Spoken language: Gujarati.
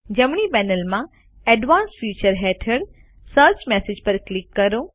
જમણી પેનલમાં એડવાન્સ્ડ ફીચર્સ હેઠળ સર્ચ મેસેજીસ પર ક્લિક કરો